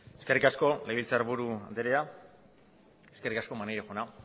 eskerrik asko legebiltzarburu andrea eskerrik asko maneiro jauna